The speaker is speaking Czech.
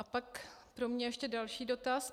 A pak pro mě ještě další dotaz.